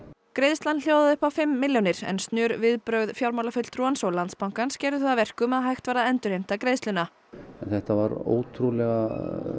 greiðslan hljóðaði upp á fimm milljónir en snör viðbrögð fjármálafulltrúans og Landsbankans gerðu það að verkum að hægt var að endurheimta greiðsluna þetta var ótrúlega